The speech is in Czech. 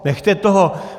Nechte toho!